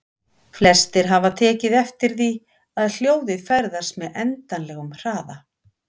Flestir hafa tekið eftir því að hljóðið ferðast með endanlegum hraða.